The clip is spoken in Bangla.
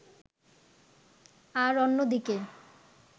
আর অন্যদিকে